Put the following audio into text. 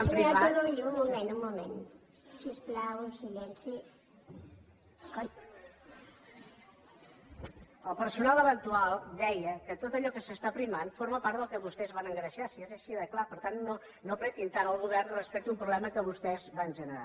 el personal eventual deia que tot allò que s’està aprimant forma part del que vostès van engreixar si és així de clar per tant no apretin tant el govern respecte a un problema que vostès van generar